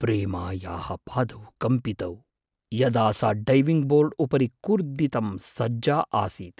प्रेमायाः पादौ कम्पितौ, यदा सा डैविङ्ग् बोर्ड् उपरि कूर्दितुम् सज्जा आसीत्।